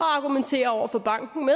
at argumentere over for banken